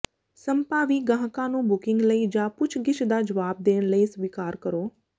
ਸੰਭਾਵੀ ਗਾਹਕਾਂ ਨੂੰ ਬੁਕਿੰਗ ਲਈ ਜਾਂ ਪੁੱਛਗਿੱਛ ਦਾ ਜਵਾਬ ਦੇਣ ਲਈ ਸਵੀਕਾਰ ਕਰੋ